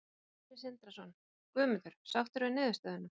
Sindri Sindrason: Guðmundur, sáttur við niðurstöðuna?